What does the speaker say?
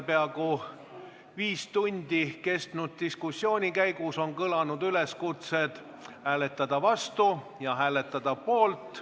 Selle peaaegu viis tundi kestnud diskussiooni käigus on kõlanud üleskutsed hääletada vastu ja hääletada poolt.